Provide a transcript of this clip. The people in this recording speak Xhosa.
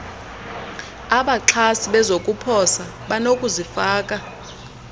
abaxhasi bezokuposa banokuzifaka